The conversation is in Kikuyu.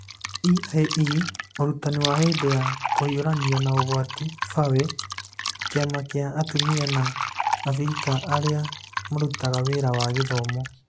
(EiE) Ũrutani wa hĩndĩ ya kũhiũrania na ũgwati (FAWE) Kĩama kĩa atumia a Abirika arĩa marutaga wĩra wa gĩthomo